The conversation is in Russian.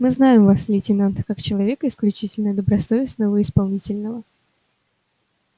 мы знаем вас лейтенант как человека исключительно добросовестного и исполнительного